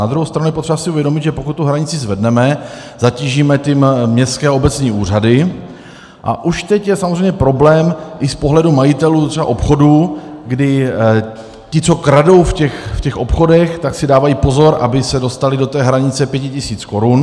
Na druhou stranu je potřeba si uvědomit, že pokud tu hranici zvedneme, zatížíme tím městské a obecní úřady, a už teď je samozřejmě problém i z pohledu majitelů třeba obchodů, kdy ti, co kradou v těch obchodech, tak si dávají pozor, aby se dostali do té hranice 5 tisíc korun.